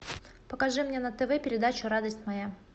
покажи мне на тв передачу радость моя